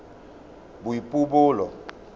boipobolo